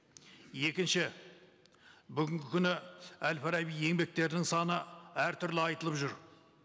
екінші бүгінгі күні әл фараби еңбектерінің саны әртүрлі айтылып жүр